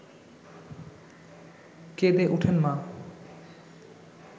কেঁদে ওঠেন মা